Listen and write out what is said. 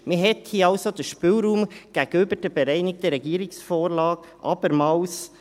Man verengte hier also den Spielraum gegenüber der bereinigten Regierungsvorlage abermals.